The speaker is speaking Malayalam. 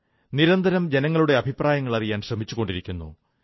നിരന്തരം ജനങ്ങളുടെ അഭിപ്രായങ്ങളറിയാൻ ശ്രമിച്ചുകൊണ്ടിരിക്കുന്നു